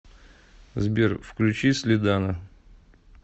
сбер включи слидана